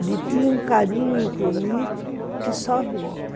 Ele tinha um carinho comigo que só vendo.